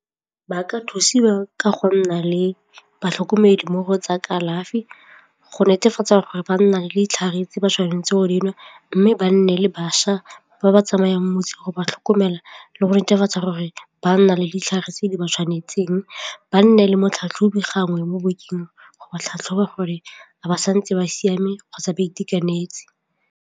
Ba ka thusiwa ka go nna le batlhokomedi mo go tsa kalafi go netefatsa gore ba nna le ditlhare tse ba tshwanetseng go di nwa mme ba nne le bašwa ba ba tsamayang motse go ba tlhokomela le go netefatsa gore ba nna le ditlhare tse di ba tshwanetseng, ba nne le motlhatlhobi gangwe mo bekeng go ba tlhatlhoba gore ga ba santse ba siame kgotsa ba itekanetse.